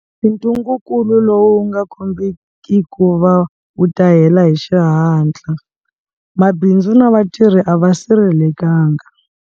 Ntungukulu lowu wu nga kombiki ku va wu ta hela hi xihatla, mabindzu na vatirhi a va sirhelelekangi.